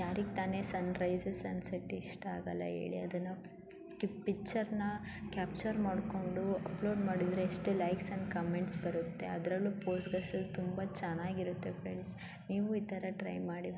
ಹೇಳ್ತಾನೆ sunrise scenes ಇಷ್ಟ ಆಗಲ್ಲ ಹೇಳಿ ಈ ಪಿಚ್ಚರ್ನ ಕ್ಯಾಪ್ಚರ್ ಮಾಡ್ಕೊಂಡು ಅಪ್ಲೋಡ್ ಮಾಡೊಂದು ಎಷ್ಟು ಲೈಕ್ಸು ಕಾಮೆಂಟ್ಸ್ ಬರುತ್ತೆ ಇತರ ಪೋಸ್ ತುಂಬಾ ಚೆನ್ನಾಗಿರುತ್ತೆ ನೀವು ಟ್ರೈ ಮಾಡಿ.